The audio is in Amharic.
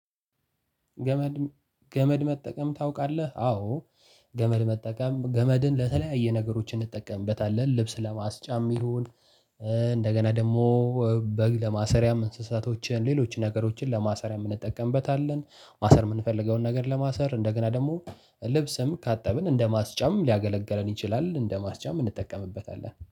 ገመድ ገመድ መጠቀም ታውቃለህ? አዎ። ገመድ መጠቀም ገመድን ለተለያየ ነገሮች እንጠቀምበታለን ልብስ ለማስጫም ይሁን። እንደገና ደግሞ በግ ለማሰሪያም እንስሳቶችን ሌሎች ነገሮችን ለማሰሪያ የምንጠቀምበታለን። ማሰር የምንፈልገውን ነገር ለማሰር እንደገና ደግሞ ልብስም ካጠብን እንደማስጫም ሊያገለግለን ይችላል እንደማስጫም እንጠቀምበታለን